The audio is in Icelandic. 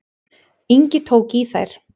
Ingi tók í þær.